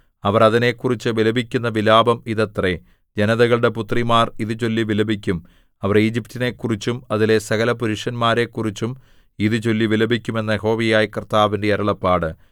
അവർ അതിനെക്കുറിച്ച് വിലപിക്കുന്ന വിലാപം ഇതത്രേ ജനതകളുടെ പുത്രിമാർ ഇതു ചൊല്ലി വിലപിക്കും അവർ ഈജിപ്റ്റിനെക്കുറിച്ചും അതിലെ സകലപുരുഷന്മാരെക്കുറിച്ചും ഇതു ചൊല്ലി വിലപിക്കും എന്ന് യഹോവയായ കർത്താവിന്റെ അരുളപ്പാട്